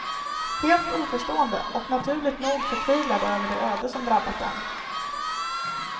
Helt oförstående, och naturligt nog förtvivlade över det öde som drabbat dem.